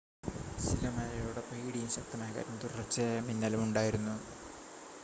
ചില മഴയോടൊപ്പം ഇടിയും ശക്തമായ കാറ്റും തുടർച്ചയായ മിന്നലും ഉണ്ടായിരുന്നു